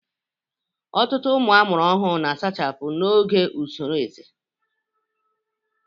Ọtụtụ ụmụ ọhụrụ na-asachapụ n'oge usoro ezé